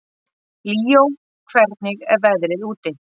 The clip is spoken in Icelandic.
Líó, hvernig er veðrið úti?